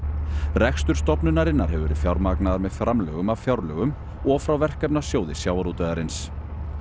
rekstur stofnunarinnar hefur verið fjármagnaður með framlögum af fjárlögum og frá Verkefnasjóði sjávarútvegarins